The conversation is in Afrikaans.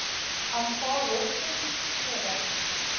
aanvaar hoogstens sewe